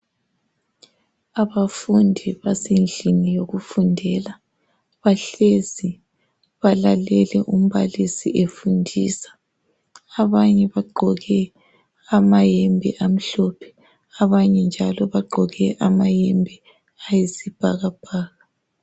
Abafundi basendlini yokundela. Bahlezi. Balalele umbal8si efundisa. Abanye bagqoke amayembe amhlophe. Abanye njalo bagqoke amayembe ayisibhakabhaka.